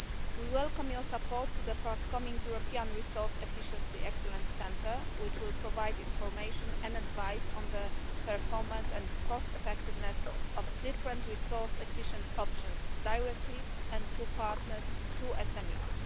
We welcome your support for the forthcoming European Resource Efficiency Excellence Centre, which will provide information and advice on the performance and cost effectiveness of different resource efficient options, directly and through partners to SMEs.